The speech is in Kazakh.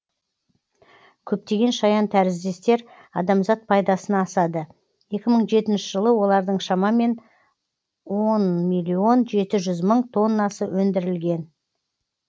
көптеген шаянтәріздестер адамзат пайдасына асады екі мың жетінші жылы олардың шамамен он миллион жеті жүз мың тоннасы өндірілген